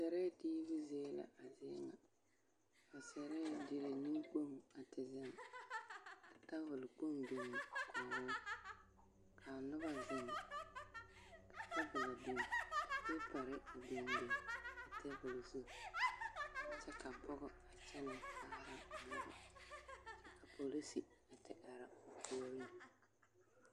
Sɛrɛɛ diibu zie la a zie ŋa ka sɛrɛɛ dire nenkpoŋ a te zeŋ ka tabol kpoŋ biŋ kɔgoo k'a noba zeŋ ka tabolo biŋ ka peepare a biŋ biŋ a teebol zu kyɛ ka pɔgɔ a kyɛnɛ kaara a nobɔ kyɛ ka polisi a te are a puoriŋ.